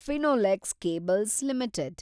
Finolex cables limited